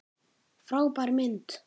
Frábær mynd!